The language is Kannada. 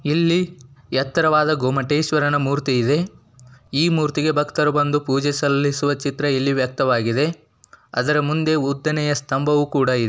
ಇಲ್ಲಿ ಎತ್ತರವಾದ ಗೊಮ್ಮಟೇಶ್ವರನ ಮುರ್ತಿ ಇದೆ ಈ ಮೂರ್ತಿಗೆ ಭಕ್ತರು ಬಂದು ಪೂಜೆ ಸಲ್ಲಿಸುವ ಚಿತ್ರ ಇಲ್ಲಿ ವ್ಯಕ್ತವಾಗಿದೆ. ಅದರ ಮುಂದೆ ಉದ್ದನೆಯ ಸ್ತಂಭವೂ ಕೂಡ ಇ--